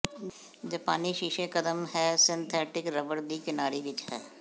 ਜਪਾਨੀ ਸ਼ੀਸ਼ੇ ਕਦਮ ਹੈ ਸਿੰਥੈਟਿਕ ਰਬੜ ਦੀ ਕਿਨਾਰੀ ਵਿਚ ਹੈ